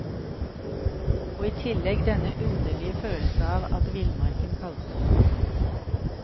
Og i tillegg denne underlige følelse av at villmarken kalte.